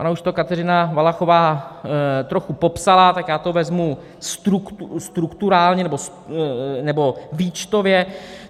Ona už to Kateřina Valachová trochu popsala, tak já to vezmu strukturálně, nebo výčtově.